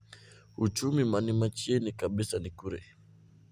Uchumi mani machiegni kabisa ni kure?